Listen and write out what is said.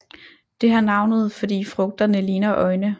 Det har navnet fordi frugterne ligner øjne